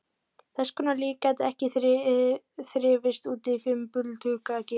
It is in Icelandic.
Þess konar líf gæti ekki þrifist úti í fimbulkulda geimsins.